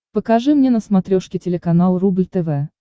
покажи мне на смотрешке телеканал рубль тв